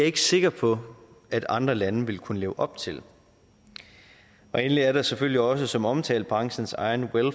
ikke sikker på at andre lande ville kunne leve op til endelig er der selvfølgelig også som omtalt branchens egen